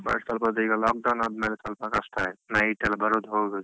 ಈವಾಗ ಸ್ವಲ್ಪ ಅದೆ ಬೇಗ lock down ಆದ್ಮೇಲೆ ಸ್ವಲ್ಪ ಕಷ್ಟ ಆಯ್ತು night ಎಲ್ಲ ಬರುದು ಹೋಗದು.